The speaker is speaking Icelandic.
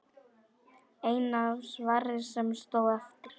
Eina svarið sem stóð eftir.